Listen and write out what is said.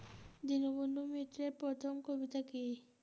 দীনবন্ধু মিত্রের প্রথম কবিতা কী?